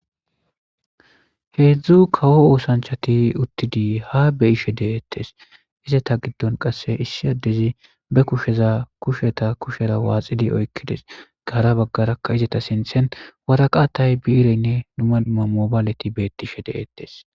Heedzdzu kawo oosanchati uttidi habeyishe deeettes izeta giddon qasse issi addezi bekusheza kusheta kushera waaxidi oykkides gaara baggarakka izeta sinthen waraqatay biireynne dumama mobaaleti beettishe deeettes.